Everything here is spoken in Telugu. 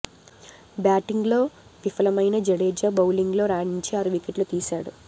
బ్యాటింగ్ లో విఫలమైన జడేజా బౌలింగ్ లో రాణించి ఆరు వికెట్లు తీసాడు